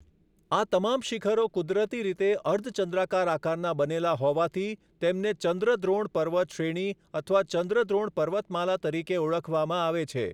આ તમામ શિખરો કુદરતી રીતે અર્ધચંદ્રાકાર આકારના બનેલા હોવાથી તેમને ચંદ્રદ્રોણ પર્વત શ્રેણી અથવા ચંદ્રદ્રોણ પર્વતમાલા તરીકે ઓળખવામાં આવે છે.